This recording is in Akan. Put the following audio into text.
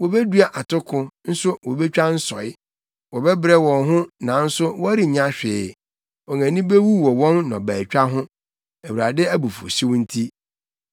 Wobedua atoko, nso wobetwa nsɔe; wɔbɛbrɛ wɔn ho nanso wɔrennya hwee. Wɔn ani bewu wɔ wɔn nnɔbaetwa ho. Awurade abufuwhyew nti.”